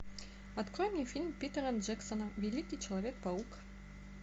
открой мне фильм питера джексона великий человек паук